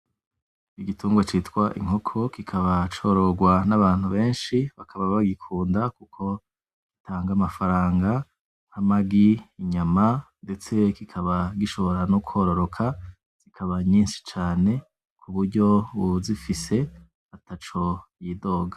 Igitungwa citwa Inkoko kikaba cororwa n'abantu benshi. Benshi bakaba bagikunda kuko gitanga amahera, amagi, inyama, ndetse kikaba gishobora no kwororoka zikaba nyinshi cane kuburyo uwuzifise ntaco yidoga.